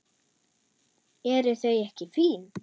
Eru þau ekki fín?